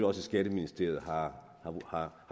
også i skatteministeriet har